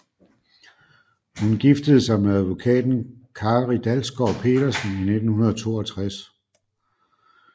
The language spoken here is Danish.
Hun giftede sig med advokaten Kári Dalsgaard Petersen i 1962